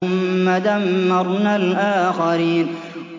ثُمَّ دَمَّرْنَا الْآخَرِينَ